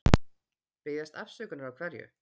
Biðjast afsökunar á hverju?